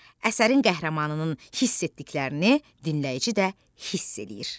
Əsərin qəhrəmanının hiss etdiklərini dinləyici də hiss eləyir.